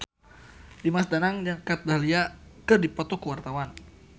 Dimas Danang jeung Kat Dahlia keur dipoto ku wartawan